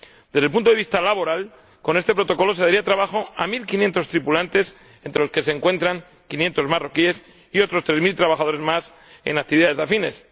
Desde el punto de vista laboral, con este Protocolo se daría trabajo a mil quinientos tripulantes —entre los que se encuentran quinientos marroquíes— y a otros tres mil trabajadores más en actividades afines.